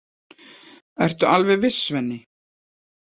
Ertu alveg viss, Svenni?